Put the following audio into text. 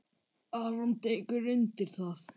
Aron tekur undir það.